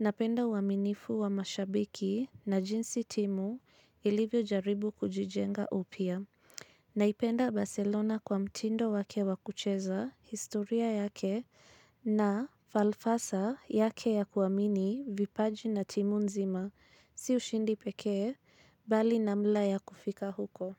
napenda uwaminifu wa mashabiki na jinsi timu ilivyo jaribu kujijenga upya. Naipenda Barcelona kwa mtindo wake wakucheza historia yake na falfasa yake ya kuamini vipaji na timu nzima si ushindi pekee bali na mla ya kufika huko.